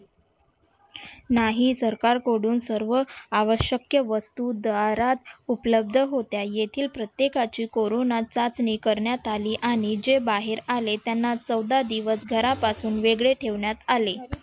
नाही सरकार कडून सर्व आवशक्य वस्तु जहारत उपलब्ध होत्या इथिल प्रत्यकाची कोरोना चाचणी करण्यात आली आणि जे बाहेर आले त्यांना चौधा दिवस घरापासून वेगळे ठेवण्यात आले.